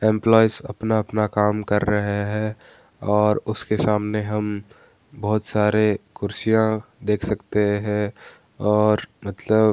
एम्प्लॉएंस अपना-अपना काम कर रहे है और उसके सामने हम बहुत सारे कुर्सियाँ देख सकते हैं और मतलब --